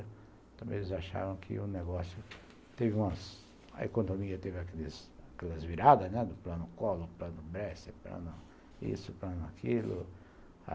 Também eles acharam que o negócio teve umas... A economia teve aqueles aquelas viradas, né, do plano Collor, do plano Bresser, do plano isso, do plano aquilo.